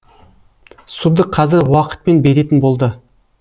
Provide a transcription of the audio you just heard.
суды қазір уақытпен беретін болды